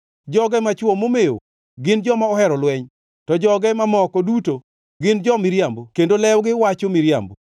Joge machwo momewo gin joma ohero lweny. To joge mamoko duto gin jo-miriambo kendo lewgi wacho miriambo.